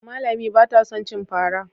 Amma Lami ba ta son cin fara.